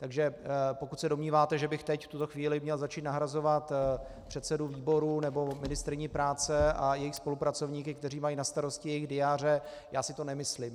Takže pokud se domníváte, že bych teď, v tuto chvíli, měl začít nahrazovat předsedu výboru nebo ministryni práce a jejich spolupracovníky, kteří mají na starosti jejich diáře, já si to nemyslím.